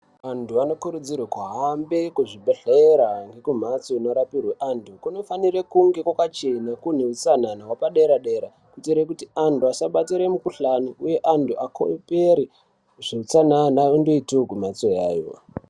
Antu anokurudzirwa kuhambe kuzvibhedhlera ngekumhatso inorapiwe antu kunofanire kunge kwakachena kune hutsanana hwepadera dera kuitire kuti anhu asabatire mikhuhlani uye anhu akopere zveutsanana ondoiteyo kumhatso yayo.